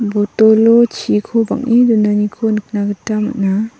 botolo chiko bang·e donaniko nikna gita man·a.